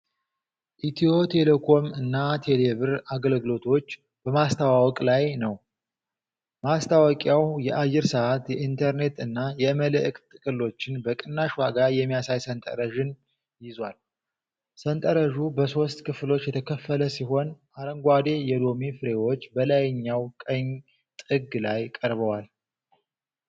ኢትዮ ቴሌኮም እና ቴሌብር አገልግሎቶችን በማስተዋወቅ ላይ ነው። ማስታወቂያው የአየር ሰዓት፣ የኢንተርኔት እና የመልዕክት ጥቅሎችን በቅናሽ ዋጋ የሚያሳይ ሠንጠረዥን ይዟል። ሠንጠረዡ በሶስት ክፍሎች የተከፈለ ሲሆን አረንጓዴ የሎሚ ፍሬዎች በላይኛው ቀኝ ጥግ ላይ ቀርበዋል።